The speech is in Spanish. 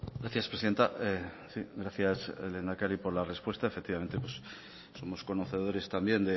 gracias presidenta gracias lehendakari por las respuestas efectivamente somos conocedores también